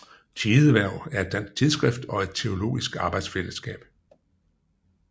Tidehverv er et dansk tidsskrift og et teologisk arbejdsfællesskab